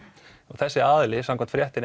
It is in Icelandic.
þessi aðili samkvæmt fréttinni